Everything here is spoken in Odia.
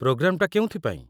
ପ୍ରୋଗ୍ରାମଟା କେଉଁଥି ପାଇଁ?